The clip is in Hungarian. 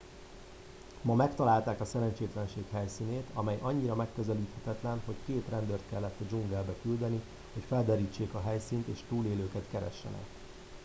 ma megtalálták a szerencsétlenség helyszínét amely annyira megközelíthetetlen hogy két rendőrt kellett a dzsungelbe küldeni hogy felderítsék a helyszínt és túlélőket keressenek